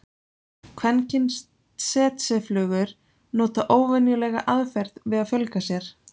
kvenkyns tsetseflugur nota óvenjulega aðferð við að fjölga sér